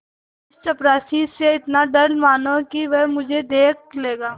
इस चपरासी से इतना डरा मानो कि वह मुझे देख लेता